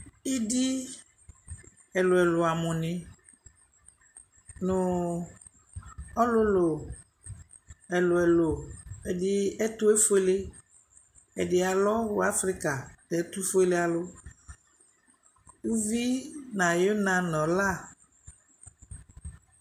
Idi ɛlʊ ɛlʊ amʊni, nʊ ɔlʊlʊ ɛlʊ ɛlʊ, ɛdi ɛtʊ efoele, ɛdɩ alɔ Wʊ afrika nʊ ɛtʊfoele alʊ Uvi nʊ ɔna nʊ ɔla